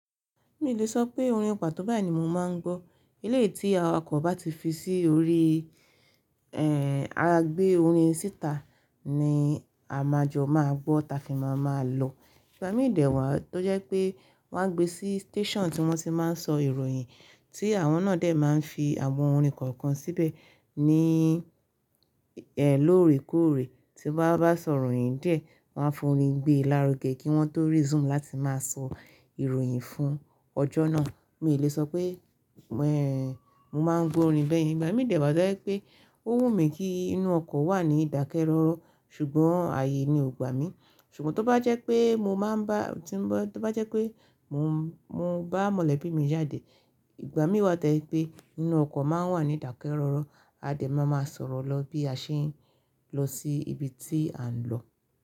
Mi ò lè sọ pé orin pato báyìí ni mo máa ń gbọ́. Ilé tí awakọ̀ bá ti fi sí orí, ẹ́, à gbé orin síta ni a maa jọ máa gbọ́, ta fí ma máa lọ. Ìgbà mí dẹ̀ wá tó jẹ́ pé wọ́n á gbé sí station tí wọ́n ti máa ń sọ ìròyìn, tí àwọn náà dè máa ń fi àwọn orin kọ̀ọ̀kan síbẹ̀ ní, ẹ́, lóòrèkóòrè tí wọ́n bá sọ ìròyìn dé, wọ́n á fún orin gbé lárugẹ kí wọ́n tó resume láti máa sọ ìròyìn fún ọjọ́ náà. Mi ò lè sọ pé, ẹ́, mo máa ń gbọ́ orin bẹ́ẹ̀ yẹn, ìgbà mí dẹ̀ wá tó jẹ́ pé ó wù mí kí inú ọkọ̀ wà ní ìdákẹ́rọ́rọ́, ṣùgbọ́n ààyè ni ò gbá mi. Ṣùgbọ́n tó bá jẹ́ pé mo máa ń bá, tí ń bá, tó bá jẹ́ pé mo, mo bá mọ̀lẹ́bí mi jáde, ìgbà mí wá tó jẹ́ pé inú ọkọ̀ máa ń wà ní ìdákẹ́rọ́rọ́, a dè máa máa sọ̀rọ̀ lọ bí a ṣe ń lọ sí ibi tí à ń lọ.